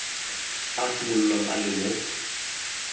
a simololang a le mo